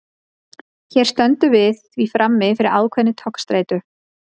hér stöndum við því frammi fyrir ákveðinni togstreitu